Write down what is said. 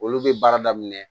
Olu bɛ baara daminɛ